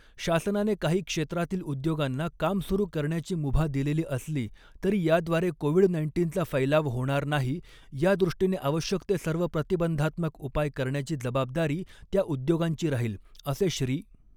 शासनाने काही क्षेत्रातील उद्योगांना काम सुरु करण्याची मुभा दिलेली असली तरी, याद्वारे कोविड नाईन्टीनचा फैलाव होणार नाही यादृष्टीने आवश्यक ते सर्व प्रतिबंधात्मक उपाय करण्याची जबाबदारी त्या उद्योगांची राहील, असे श्री.